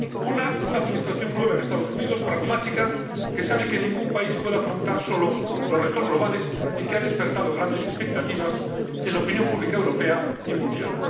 La primera, una administración nueva en los Estados Unidos, pragmática, que sabe que ningún país puede afrontar solo los retos globales y que ha despertado grandes expectativas en la opinión pública europea y mundial.